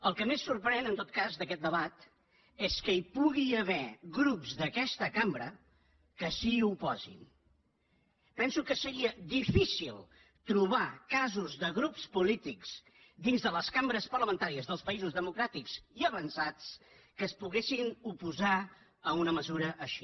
el que més sorprèn en tot cas d’aquest debat és que hi pugui haver grups d’aquesta cambra que s’hi oposin penso que seria difícil trobar casos de grups polítics dins de les cambres parlamentàries dels països democràtics i avançats que es poguessin oposar a una mesura així